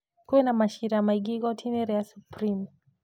Kwĩna macira maingĩ igoti rĩa Supreme.